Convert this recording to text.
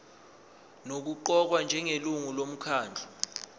nokuqokwa njengelungu lomkhandlu